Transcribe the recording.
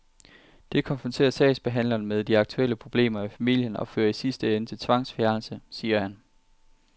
Det konfronterer sagsbehandlerne med de aktuelle problemer i familien og fører i sidste ende til tvangsfjernelse, siger han.